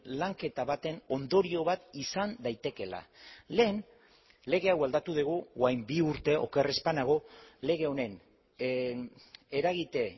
lanketa baten ondorio bat izan daitekeela lehen lege hau aldatu dugu orain bi urte oker ez banago lege honen eragite